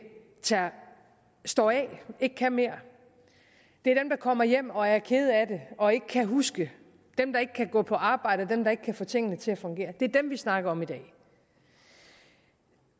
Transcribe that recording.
står af og ikke kan mere det er dem der kommer hjem og er kede af det og ikke kan huske det dem der ikke kan gå på arbejde dem der ikke kan få tingene til at fungere det er dem vi snakker om i dag